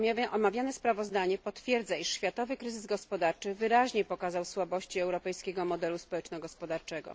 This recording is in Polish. Omawiane sprawozdanie potwierdza, iż światowy kryzys gospodarczy wyraźnie pokazał słabości europejskiego modelu społeczno gospodarczego.